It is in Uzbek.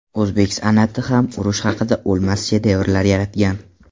O‘zbek san’ati ham urush haqida o‘lmas shedevrlar yaratgan.